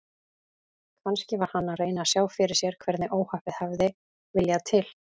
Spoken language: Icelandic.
Kannski var hann að reyna að sjá fyrir sér hvernig óhappið hafði viljað til.